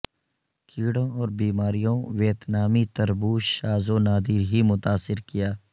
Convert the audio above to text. کیڑوں اور بیماریوں ویتنامی تربوز شاذ و نادر ہی متاثر کیا